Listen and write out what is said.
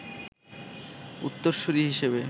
উত্তরসুরী হিসেবে